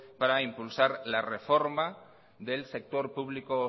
para impulsar la reforma del sector público